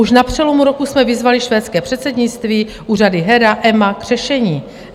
Už na přelomu roku jsme vyzvali švédské předsednictví, úřady HERA, EMA, k řešení.